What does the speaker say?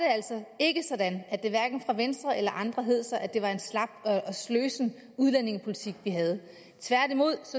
altså ikke sådan at det hverken fra venstre eller andre hed sig at det var en slap og sløset udlændingepolitik vi havde tværtimod